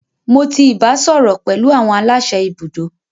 Mo ti ibasọrọ pẹlu awọn alase ibudo.